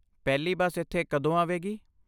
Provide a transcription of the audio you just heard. ਪਹਿਲੀ ਬੱਸ ਇੱਥੇ ਕਦੋਂ ਆਵੇਗੀ?